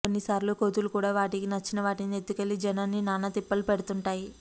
కొన్ని సార్లు కోతులు కూడా వాటికి నచ్చిన వాటిని ఎత్తుకెళ్లి జనాన్ని నానా తిప్పలు పెడుతుంటాయి